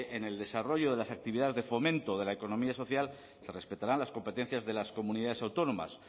en el desarrollo de las actividades de fomento de la economía social se respetarán las competencias de las comunidades autónomas